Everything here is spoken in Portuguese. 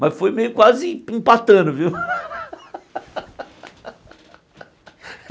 Mas foi meio quase empatando, viu?